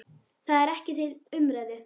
Það er ekki til umræðu.